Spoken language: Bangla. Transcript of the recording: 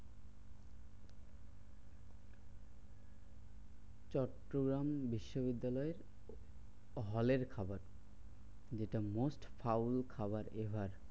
চট্টগ্রাম বিশ্ববিদ্যালয় হলের খাবার যেটা most ফাউল খাবার এ হয়।